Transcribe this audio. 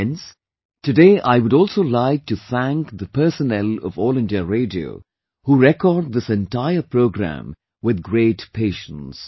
Friends, today I would also like to thank the personnel of All India Radio who record this entire program with great patience